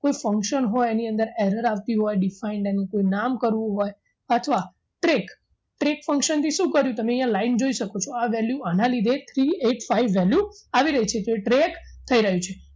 કોઈ function હોય એની અંદર error આવતી હોય deep માં એનું નામ કરવું હોય અથવા track track function થી શું કર્યુ તમે અહીંયા line જોઈ શકો છો આ value આના લીધે થી એક five value આવી રહી છે તો તે track થઈ રહ્યું છે